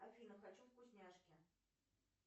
афина хочу вкусняшки